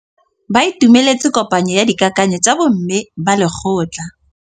Ba itumeletse kôpanyo ya dikakanyô tsa bo mme ba lekgotla.